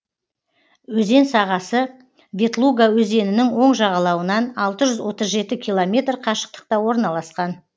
өзен сағасы ветлуга өзенінің оң жағалауынан алты жүз отыз жеті километр қашықтықта орналасқан